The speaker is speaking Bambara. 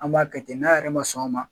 An b'a kɛ n'a yɛrɛ ma sɔn o ma